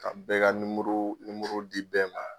Ka bɛɛ ka di bɛɛ ma